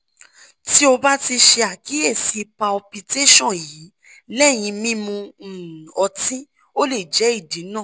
ti o ba ti ṣe akiyesi palpitation yii lẹhin mimu um ọti o le jẹ idi naa